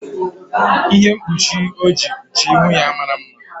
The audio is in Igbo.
Ihe mkpuchi o ji kpuchie ihu ya mara mma.